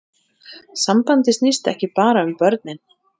Sambandið snýst ekki bara um börnin